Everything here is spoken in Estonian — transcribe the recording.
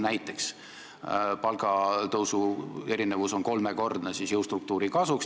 Näiteks palgatõusu erinevus on kolmekordne jõustruktuuri kasuks.